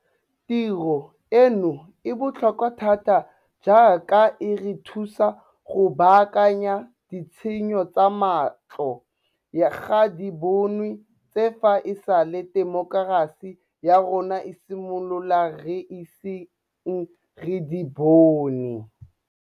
Tiro eno e botlhokwa thata jaaka e re thusa go baakanya ditshenyo tsa matlho ga di bonwe tse fa e sale temokerasi ya rona e simolola re iseng re di bone.